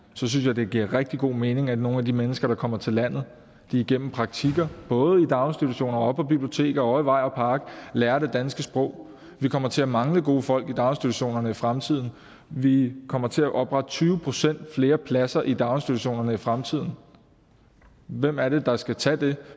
synes jeg det giver rigtig god mening at nogle af de mennesker der kommer til landet igennem praktikker både i daginstitutioner på biblioteker og i vej og park lærer det danske sprog vi kommer til at mangle gode folk i daginstitutionerne i fremtiden vi kommer til at oprette tyve procent flere pladser i daginstitutionerne i fremtiden hvem er det der skal tage dem